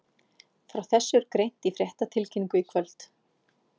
Frá þessu er greint í fréttatilkynningu í kvöld.